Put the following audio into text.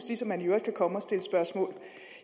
ligesom man i øvrigt kan komme og stille spørgsmål